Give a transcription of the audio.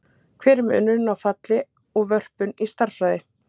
Hver er munurinn á falli og vörpun í stærðfræði?